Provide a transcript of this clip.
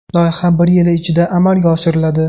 Loyiha bir yil ichida amalga oshiriladi.